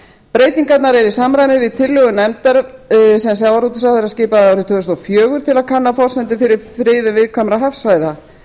breytingarnar eru í samræmi við tillögur nefndar sem sjávarútvegsráðherra skipaði árið tvö þúsund og fjögur til að kanna forsendur fyrir friðun viðkvæmra hafsvæða